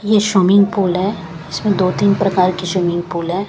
यह swimming pool है इसमें दो-तीन प्रकार की स्विमिंग पूल है।